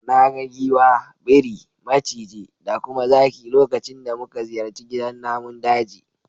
Na ga giwa, biri, maciji da kuma zaki lokacin da muka ziyarci gidan namun daji.